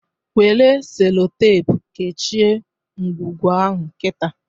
Nwere Sellotape kechịe ngwugwu ahụ kita!